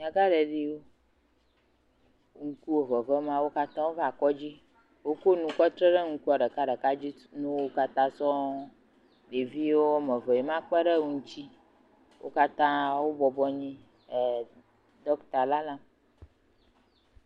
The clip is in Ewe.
Nyagãɖeɖiwo ŋkuwo vevem la katã va kɔdzi. Woku nu kɔ tre ɖe ŋkua ɖeka ɖeka dzi na wo katã sɔ̃ɔ. Ɖeviwo eve eme kpe ɖe wo ŋuti. Wo katã wobɔbɔ nɔ anyi dɔkta la lalam.